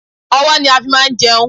Ọ̀wọ́ ni a fi máa ń jẹun